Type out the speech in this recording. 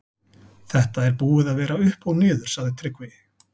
Þetta er búið að vera upp og niður, sagði Tryggvi.